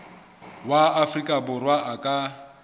wa afrika borwa a ka